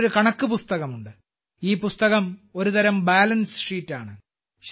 അതിൽ ഒരു കണക്ക് പുസ്തകമുണ്ട് ഈ പുസ്തകം ഒരുതരം ബാലൻസ് ഷീറ്റാണ്